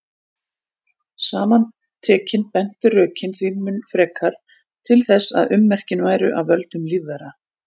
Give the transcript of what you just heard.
Saman tekin bentu rökin því mun frekar til þess að ummerkin væru af völdum lífvera.